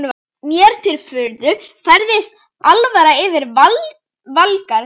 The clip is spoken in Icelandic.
Mér til furðu færist alvara yfir Valgarð.